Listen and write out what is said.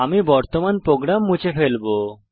আমি বর্তমান প্রোগ্রাম মুছে ফেলবো